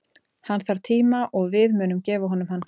Hann þarf tíma og við munum gefa honum hann.